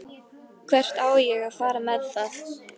Hvert á ég að fara með það?